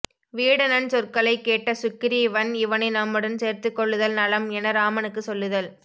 வீடணன் சொற்களைக் கேட்ட சுக்கிரீவன் இவனை நம்முடன் சேர்த்துக் கொள்ளுதல் நலம் என இராமனுக்குச் சொல்லுதல்